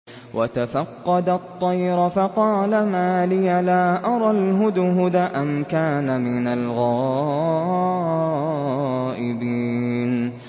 وَتَفَقَّدَ الطَّيْرَ فَقَالَ مَا لِيَ لَا أَرَى الْهُدْهُدَ أَمْ كَانَ مِنَ الْغَائِبِينَ